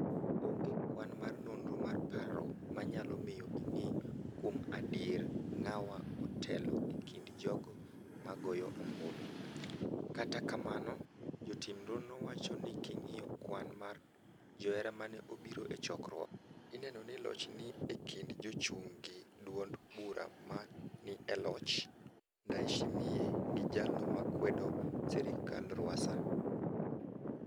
Onge kwan mar nonro mar paro manyalo miyo ing'e kuom adier ng'awa otelo e kind jogo ma goyo obulu, kata kamano jotim nonro wacho n king'iyo kwan mar joera mane obiro e chokruok mar kampen ineno ni loch ni e kind jachung' gi duond bura ma ni e loch Ndaiyshimiye gi jalno makwdo serikal Rwasa.